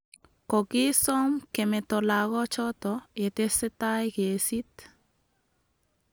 Kogisom kemeto lagoochoto yetesetai kesiit